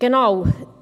Genau.